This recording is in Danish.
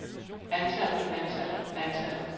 antallet antallet antallet